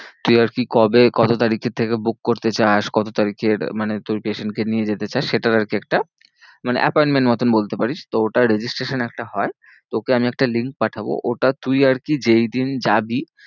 তুই আর কি কবে কত তারিখের থেকে book করতে চাস? কত তারিখের মানে তোর patient কে নিয়ে যেতে চাস সেটার আর কি একটা মানে appointment মতো বলতে পারিস। তো ওটার registration একটা হয়। তোকে আমি একটা link পাঠাবো। ওটা তুই আর কি যেই দিন যাবি